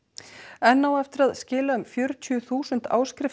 enn á eftir að skila um fjörutíu þúsund